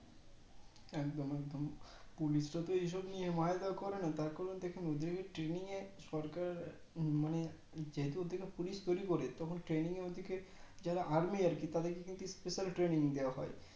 একদম একদম Police রা তো এই সব নিয়ে মার ধোর করে না তার কারণ দেখুন ওদেরকে Traning এ সরকার মানে যেহেতু ওদেরকে Police তৈরী করে তখন Traning এ ওদেরকে যারা Army আর কি তাদেরকে কিন্তু Special Traning দেওয়া হয়